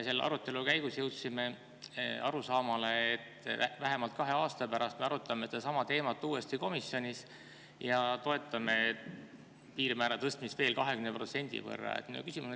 Selle arutelu käigus jõudsime arusaamale, et vähemalt kahe aasta pärast me arutame komisjonis sedasama teemat uuesti ja toetame piirmäära tõstmist veel 20%.